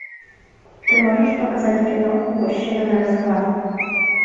ты можешь показать кино мужчина на расхват